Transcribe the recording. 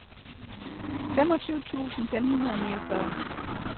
femogtyve tusind fem hundrede og niogfyrre